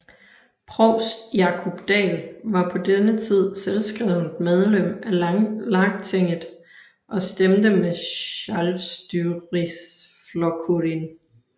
Provst Jákup Dahl var på denne tid selvskrevent medlem af Lagtinget og stemte med Sjálvstýrisflokkurin